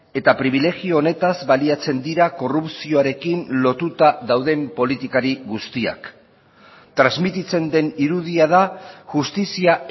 eta pribilegio honetaz baliatzen dira korrupzioarekin lotuta dauden politikari guztiak transmititzen den irudia da justizia